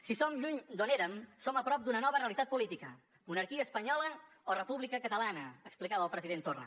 si som lluny d’on érem som a prop d’una nova realitat política monarquia espanyola o república catalana explicava el president torra